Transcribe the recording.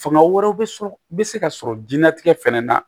Fanga wɛrɛ bɛ sɔrɔ bɛ se ka sɔrɔ jiyɛn latigɛ fana na